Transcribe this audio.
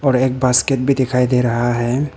और एक बास्केट भी दिखाई दे रहा है।